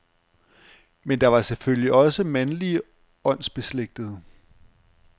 Men der var selvfølgelig også mandlige åndsbeslægtede.